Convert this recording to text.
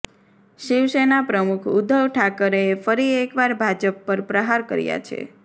શિવસેના પ્રમુખ ઉદ્ધવ ઠાકરેએ ફરી એકવાર ભાજપ પર પ્રહાર કર્યા છે